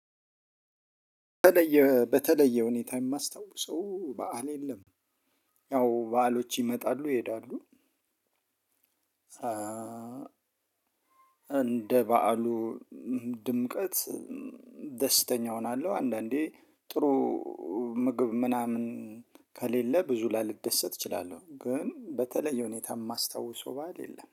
በተለየ በተለየ ሁኔታ የማስታውሰው በዓል የለም። ያው በዓሎች ይመጣሉ ይሄዳሉ እንደ በዓሉ ድምቀት ደስተኛ እሆናለሁ አንዳንዴ ጥሩ ምግብ ምናምን ከሌለ ብዙ ላልደሰት እችላለሁ ግን በተለይ ሁኔታ የማስታውሰው በዓል የለም።